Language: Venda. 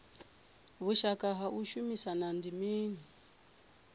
vhushaka ha u shumisana ndi mini